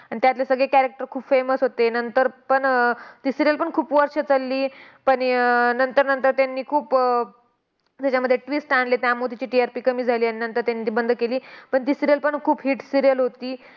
आणि त्यातले सगळे character खूप famous होते. नंतर पण अह ती serial पण खूप वर्ष चलली. पण अह नंतर नंतर त्यांनी खूप त्याच्यामध्ये twist आणले. त्यामुळं तिची TRP कमी झाली. नंतर त्यांनी ती बंद केली. पण ती serial पण खूप hit serial होती.